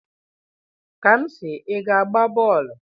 Kamsi, ị ga-agba bọọlụ?